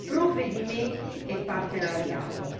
provvedimenti e partenariato.